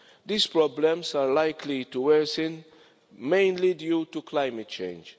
These problems are likely to worsen, mainly due to climate change.